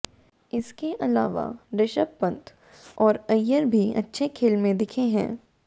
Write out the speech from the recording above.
इसके अलावा ऋषभ पंत और अय्यर भी अच्छे खेल में दिखे हैं